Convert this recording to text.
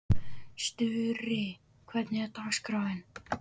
Sturri, hvernig er dagskráin?